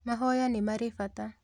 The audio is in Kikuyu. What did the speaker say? Mahoya nĩ marĩ bata